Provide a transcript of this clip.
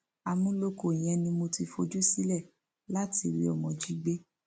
àmúlòkọ yẹn ni mo ti fojú sílẹ láti rí ọmọ jí gbé